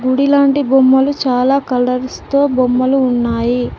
గుడి లాంటి బొమ్మలు చాలా కలర్స్ తో బొమ్మలు ఉన్నాయి.